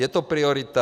Je to priorita.